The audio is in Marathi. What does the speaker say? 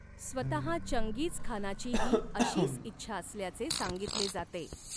स्वतः चंगीझखानाचीही अशीच इच्छा असल्याचे सांगितले जाते.